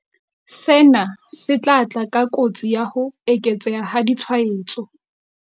Sena se tla tla ka kotsi ya ho eketseha ha ditshwaetso.